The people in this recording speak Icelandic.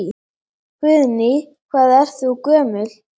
Guðný: Hvað ert þú gömul?